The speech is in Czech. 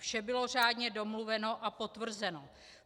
Vše bylo řádně domluveno a potvrzeno.